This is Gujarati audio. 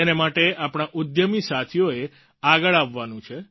તેને માટે આપણા ઉદ્યમી સાથીઓએ આગળ આવવાનું છે